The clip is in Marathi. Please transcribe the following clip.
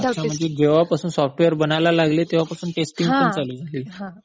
अच्छा म्हणजे जेव्हापासून सॉफ्टवेअर बनायला लागले, तेंव्हापासून टेस्टिंग पण चालू झाली.